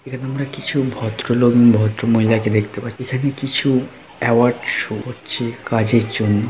এখানে আমরা কিছু ভদ্রলোক- ওম ভদ্র মহিলা দেখতে পাচ্ছি। এখানে কিছু অ্যাওয়ার্ড শো হচ্ছে কাজের জন্য।